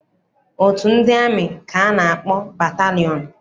Otu ndị amị ka a na-akpọ batalịọn.